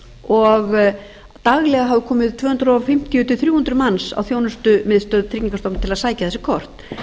og daglega hafi komið tvö hundruð fimmtíu til þrjú hundruð manns á þjónustumiðstöð tryggingastofnunar til að sækja þessi kort